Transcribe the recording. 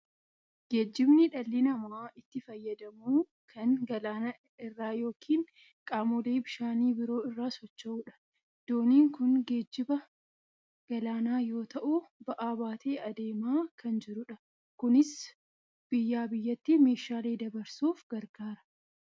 Geejjibni dhalli namaa itti fayyadamu kan galaana irra yookiin qaamolee bishaanii biroo irra socho'udha. Dooniin kun geejjiba galaanaa yoo ta'u, ba'aa baatee adeemaa kan jirudha. Kunis biyyaa biyyatti meeshaalee dabarsuuf gargaara.